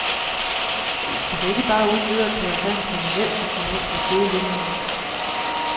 Vi kan ikke bare uden videre tage os af en kriminel, der kommer ind fra sidelinien.